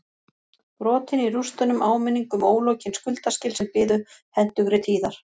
Brotin í rústunum áminning um ólokin skuldaskil sem biðu hentugri tíðar